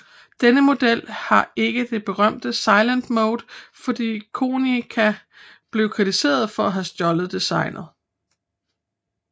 Denne model har ikke den berømte Silent Mode fordi Konica blev kritiseret for at have stjålet designet